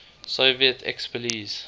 soviet expellees